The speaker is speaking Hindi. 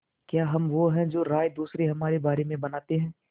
क्या हम वो हैं जो राय दूसरे हमारे बारे में बनाते हैं